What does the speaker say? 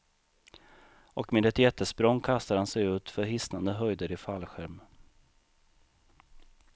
Och med ett jättesprång kastar han sig ut för hisnande höjder i fallskärm.